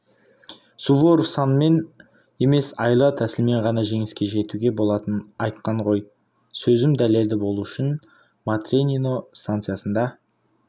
суворов санмен емес айла-тәсілмен ғана жеңіске жетуге болатынын айтқан ғой сөзім дәлелді болу үшін матренино станциясында